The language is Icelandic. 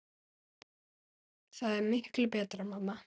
Það er miklu betra mamma!